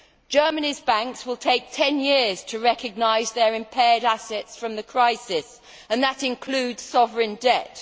Germany's banks will take ten years to recognise their impaired assets from the crisis, and that includes sovereign debt.